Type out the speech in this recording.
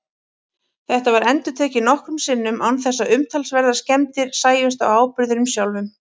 Þetta var endurtekið nokkrum sinnum án þess að umtalsverðar skemmdir sæjust á áburðinum sjálfum.